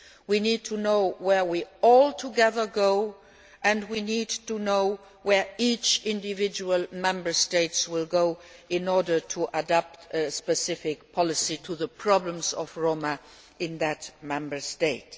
we need to know where we are all going together and we need to know where each individual Member State will go in order to adapt specific policies to the problems of the Roma in that Member State.